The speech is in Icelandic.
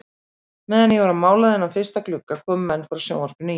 Meðan ég var að mála þennan fyrsta glugga komu menn frá sjónvarpinu í